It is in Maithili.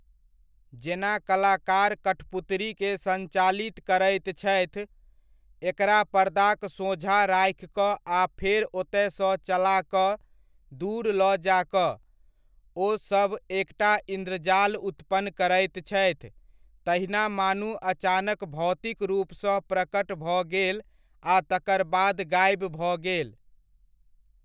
जेना कलाकार कठपुतरीके सञ्चालित करैत छथि, एकरा पर्दाक सोझाँ राखि कऽ आ फेर ओतय सँ चला कऽ दूर लऽ जा कऽ, ओ सब एकटा इन्द्रजाल उत्पन्न करैत छथि तहिना मानू अचानक भौतिक रूपसँ प्रकट भऽ गेल आ तकर बाद गाइब भऽ गेल।